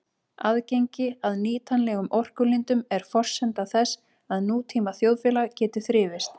Aðgengi að nýtanlegum orkulindum er forsenda þess að nútíma þjóðfélag geti þrifist.